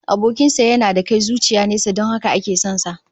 Abokin sa yana da kai zuciya nesa don haka ake son sa